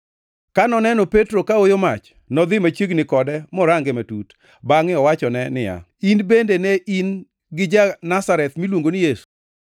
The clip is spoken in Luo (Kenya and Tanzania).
Ka noneno Petro kaoyo mach, nodhi machiegni kode morange matut, bangʼe owachone niya, “In bende ne in gi ja-Nazareth miluongo ni Yesu.”